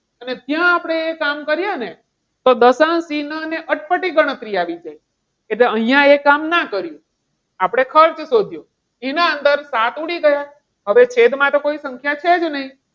અને ત્યાં આપણે એ કામ કરીએ ને! તો દશાંશ ચિન્હ અને અટપટી ગણતરી આવી જાય. એટલે અહીંયા એ કામ ન કરીએ. આપણે ખર્ચ શોધ્યો. એના અંદર સાત ઉડી ગયા. હવે છેદમાં તો કોઈ સંખ્યા છે જ નહીં.